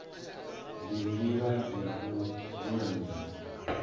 ndi ndila ya u lulamisa